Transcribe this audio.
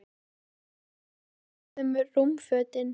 Veistu nokkuð hvað varð um rúmfötin?